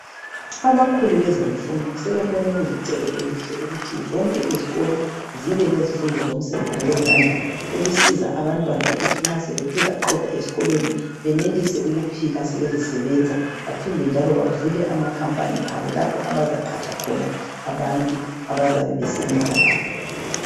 Abakhulu bezemfundo sebebone kulencendo ukwenza imisebenzi yezandla ukuze nxa sebekhulile benelise ukuvula amakhampani abazayenza khona umsebenzi wezandla.